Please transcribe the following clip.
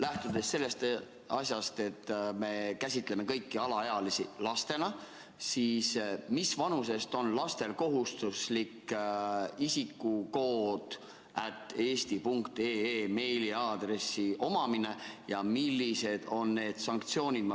Lähtudes sellest, et me käsitame kõiki alaealisi lastena, mis vanusest on lastel kohustuslik isikukood@eesti.ee meiliaadressi omamine ja millised on need sanktsioonid?